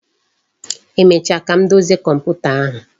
Emecha ka m dozie komputa ahụ